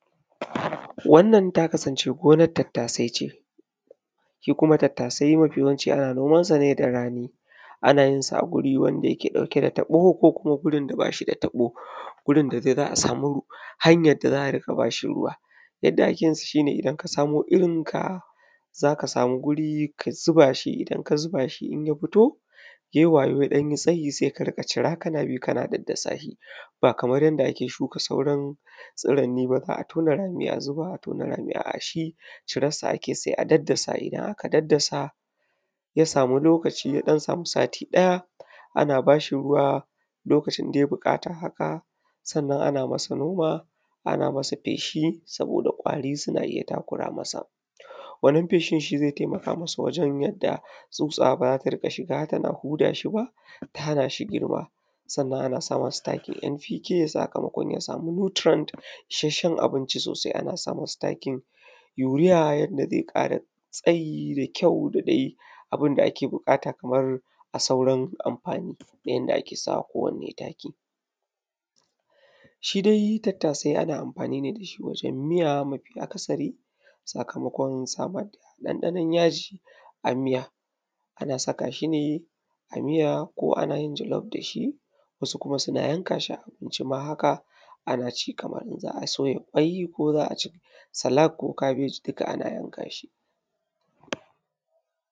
wannan ta kasance gonan tattasai ce shi kuma tattasai mafi yawanci ana noman sa ne da rani ana jin sa a guri wanda yake ɗauke da taɓo ko kuma gurin da bashi da taɓo gurin da dai za a sama hanyan da za a riƙa bashi ruwa yadda ake yin sa shine idan ka samo irin ka za ka sama guri ka zuba shi idan ka zuba shi in ya fito sai waje ya ɗan yi tsayi sai ka shira kana bi kana daddasa shi ba kaman yadda ake shuka sauran tsiranni ba za a tona rami a zuba a tona a'a shi karassa ake sai a daddasa idan aka daddasa ya samu lokaci ya dan samu sati ɗaya ana bashi ruwa lokacin da ya buƙata haka sannan ana masa noma ana masa feshi saboda ƙwari suna iya takura masa wannan feshin shi zai taimaka masa wajen yadda tsutsa bara ta shiga tana huda shi ba ta hana shi girma sannan ana sa masa takin npk sakamakon ya samu nutrient issacen abinci sosai ana sa masa takin urea yanda zai ƙara tsayi da kyau da dai abun da ake buƙata kamar a sauran amfani na yanda ake sama kowanne taki shi dai tattasai ana amfani ne da shi wajen miya mafi’akasari sakamakon samar da ɗanɗanon ya ji a mija ana saka shine a miya ko ana yin jallof da shi wasu kuma suna yanka shi a abinci haka a na ci kaman za a soya kwai ko za a ci salak ko kabeji duka ana yanka shi.